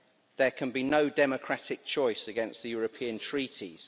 There can be no democratic choice against the European Treaties'.